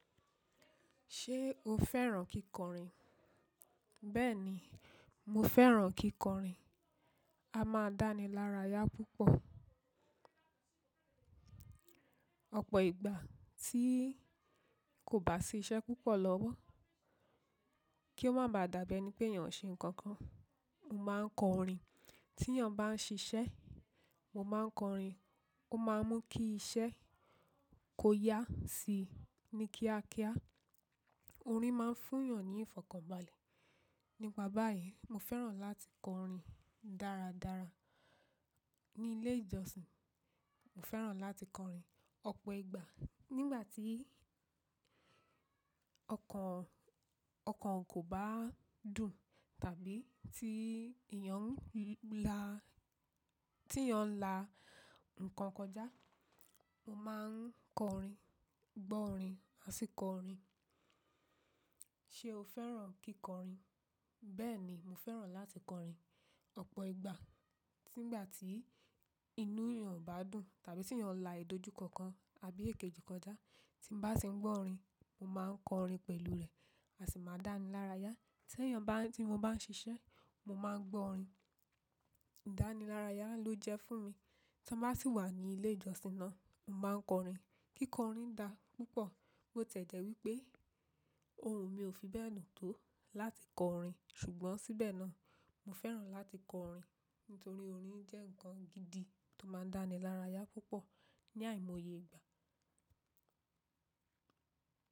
Ṣé o fẹ́ràn kíkọrin? Bẹ́ẹ̀ni, mo fẹ́ràn kíkọrin. A máa ń dá ni lára yá púpọ̀. Ọ̀pọ̀ ìgbà tí kò bá sí iṣẹ́ púpọ̀ lọ́wọ́, kí ó má ba à dàbí ẹni pé yàn ṣe nǹkan kan, mo máa ń kọrin. Tí yàn bá ń ṣiṣẹ́, mo máa ń kọrin. Ó máa ń mú kí iṣẹ́ kó yá sí i ní kíákíá. Orin máa ń fún yàn ní ìfọ̀kànbalẹ̀. Nípa báyìí, mo fẹ́ràn láti kọrin dáradára. Ni ilé ìjọsìn, mo fẹ́ràn láti kọrin. Ọ̀pọ̀ ìgbà nígbà tí ọkàn, ọkàn kò bá dùn tàbí tí ìyàn ń la, tí ìyàn ń la nǹkan kọjá, mo máa ń kọrin, gbọ́ orin àti kọ orin. Ṣé o fẹ́ràn kíkọrin? Bẹ́ẹ̀ni, mo fẹ́ràn láti kọrin. Ọ̀pọ̀ ìgbà tígbà tí inú yàn ò bá dùn tàbí tí yàn la ìdojúkọkan abí èkejì kọjá, tí mo bá ti ń gbọ́ orin, mo máa ń kọrin pẹ̀lú rẹ̀, àṣì máa dá ni lára yá. Tí yàn bá, tí mo bá ń ṣiṣẹ́, mo máa ń gbọ́ orin. Ìdánilárayá ló jẹ́ fún mi. Tí n bá sì wà ní ilé ìjọsìn náà, mo máa ń kọrin. Kíkọrin da púpọ̀. Ó ti e jẹ́ wípé ohun mi ò fi bẹ́ẹ̀ dun tó láti kọ orin. Ṣùgbọ́n síbẹ̀ náà, mo fẹ́ràn láti kọ orin nítorí orin jẹ́ ǹkan gidi tó máa ń dá ni lára yá púpọ̀ ní àìmọye ìgbà.